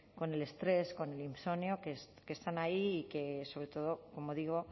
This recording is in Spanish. con el estrés con el insomnio que están ahí y que sobre todo como digo